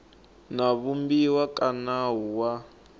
na vumbiwa ka nawu wa